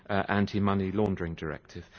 Anti Money Laundering Directive.